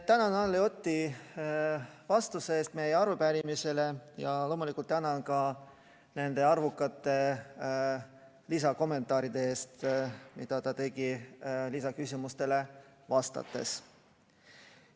Tänan Anneli Otti vastuse eest meie arupärimisele ja loomulikult tänan ka nende arvukate lisakommentaaride eest, mida ta tegi lisaküsimustele vastates.